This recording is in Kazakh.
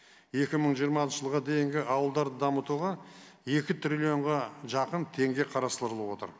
екі мың жиырма алтыншы жылға дейінгі ауылдарды дамытуға екі триллионға жақын теңге қарастырылып отыр